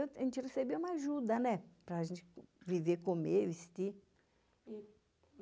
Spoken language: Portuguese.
A gente recebia uma ajuda, né, para a gente viver, comer, vestir.